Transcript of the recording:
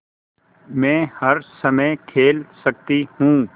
मै हर समय खेल सकती हूँ